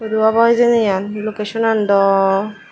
he obo hejeni eyan locationan do.